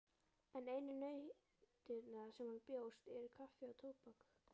En einu nautnirnar sem honum bjóðast eru kaffi og tóbak.